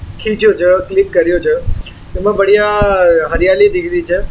छे क्लिक करियो छे इनमे बढ़िया हरियाली दिख रही छे।